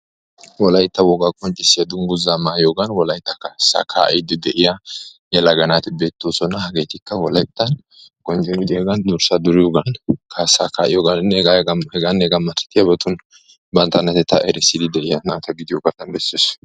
wolaytta wogaa qonccissiyaa dungguzzaa mayiyoogan wolaytta kaassaa kaa"iiddi de"iyaa yelaga naati beettoosona. Hageetikka wolaytta durssa duriyoogan kaassaa kaa"iyoganinne hegaanne hegaa malatiyaabatun bantta oonatetta erissiddi de"iya naata gidiyoga besses.